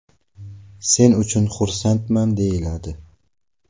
Sen uchun xursandman”, deyiladi.